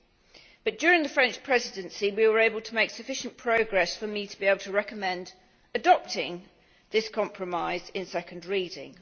however, during the French Presidency we were able to make sufficient progress for me to be able to recommend adopting this compromise at second reading.